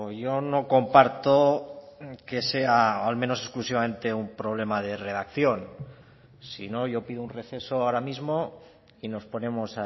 yo no comparto que sea al menos exclusivamente un problema de redacción si no yo pido un receso ahora mismo y nos ponemos